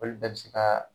Olu bɛɛ bɛ se ka